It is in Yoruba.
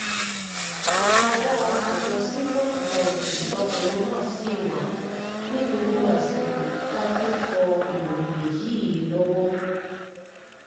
ìkáwọ́ àjọ sífọ́ dìfẹ̀ǹsì lọkùnrin náà ṣì wà ní gbogbo àsìkò tá a fi ń kọ ìròyìn yìí lọ́wọ́